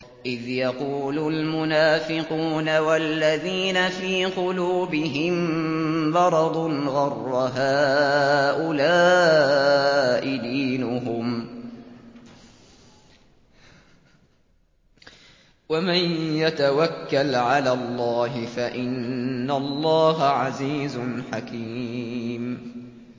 إِذْ يَقُولُ الْمُنَافِقُونَ وَالَّذِينَ فِي قُلُوبِهِم مَّرَضٌ غَرَّ هَٰؤُلَاءِ دِينُهُمْ ۗ وَمَن يَتَوَكَّلْ عَلَى اللَّهِ فَإِنَّ اللَّهَ عَزِيزٌ حَكِيمٌ